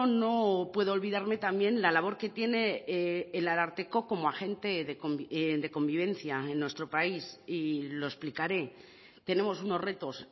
no puedo olvidarme también la labor que tiene el ararteko como agente de convivencia en nuestro país y lo explicaré tenemos unos retos